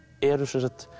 eru